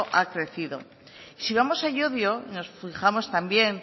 ha crecido si vamos a llodio nos fijamos también